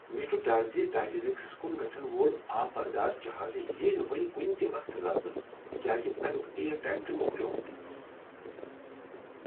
مےٚ چھ ڈر زِ ٹائٹینکس کن گژھن وول آب بردار جہاز ییہ نہٕ وۄنۍ کنہ تہ وقتہٕ لبنہٕ تکیٛاز امیک اییر ٹایم چھ مۄکلیٛومت۔